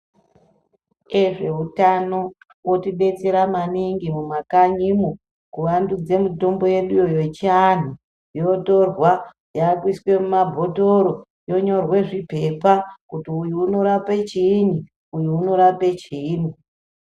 Vezveutano votibetsera maningi mumakanyimo kuvandudza mitombo yeduyo yechiantu yotorwa yakuiswa mumabhotoro yonyorwa zvipepa kuti kuti uyu unorape chiini uyu unorape chiini .